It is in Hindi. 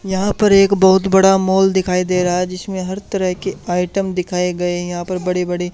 यहां पर एक बहुत बड़ा मॉल दिखाई दे रहा है जिसमें हर तरह के आइटम दिखाए गए है यहां पर बड़े बड़े--